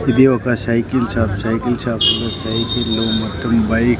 ఇది ఒక cycle shop cycle షాప్లో సైకిళ్లు మొత్తం బై --